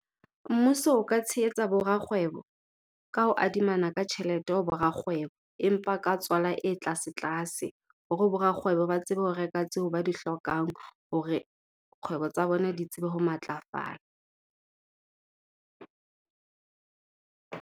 Mmuso o ka tshehetsa bo rakgwebo, ka ho adimana ka tjhelete ho bo rakgwebo empa ka tswala e tlase-tlase. Hore bo rakgwebo ba tsebe ho reka tseo ba di hlokang hore kgwebo tsa bona di tsebe ho matlafala.